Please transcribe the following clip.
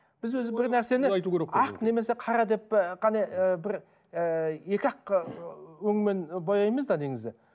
біз өзі бір нәрсені ақ немесе қара деп і қана і бір ііі екі ақ өңмен бояймыз да негізі